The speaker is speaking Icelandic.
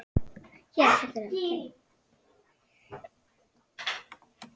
Lalli fór að gráta.